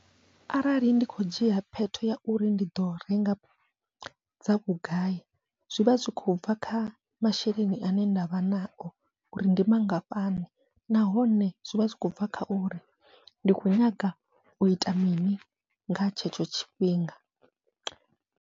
Arali ndi kho dzhia phetho ya uri ndi ḓo renga dza vhugai, zwivha zwi khou bva kha masheleni ane ndavha nao uri ndi mangafhani, nahone zwivha zwi khou bva kha uri ndi khou nyanga uita mini nga tshetsho tshifhinga.